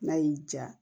N'a y'i ja